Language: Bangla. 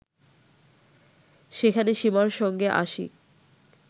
সেখানে সীমার সঙ্গে আশিক